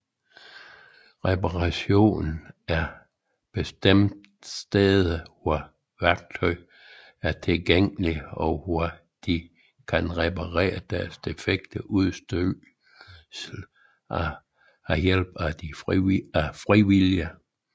Reparationscaféer er bestemte steder hvor værktøj er tilgængeligt og hvor de kan reparere deres defekte udstyr ved hjælp af frivillige